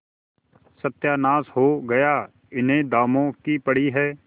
सत्यानाश हो गया इन्हें दामों की पड़ी है